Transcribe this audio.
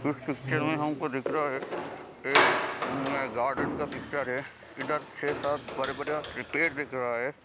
इस पिक्चर में हमको दिख रहा है एक गार्डन का पिक्चर है इधर छह-सात बड़े-बड़े पेड़ दिख रहा है।